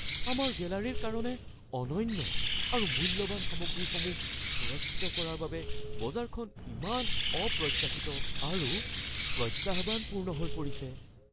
আমাৰ গেলাৰীৰ কাৰণে অনন্য আৰু মূল্যৱান সামগ্ৰীসমূহ সুৰক্ষিত কৰাৰ বাবে বজাৰখন ইমান অপ্ৰত্যাশিত আৰু প্ৰত্যাহ্বানপূৰ্ণ হৈ পৰিছে।